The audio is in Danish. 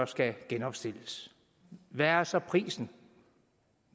skal genopstilles hvad er så prisen